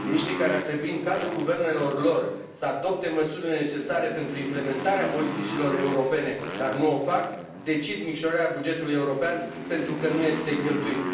Miniștrii care ar trebui, în cadrul guvernelor lor, să adopte măsurile necesare pentru implementarea politicilor europene, dar nu o fac, decid micșora bugetul european pentru că nu este cheltuit.